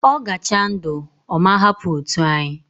Ogacha ndu, oma hapu otu anyi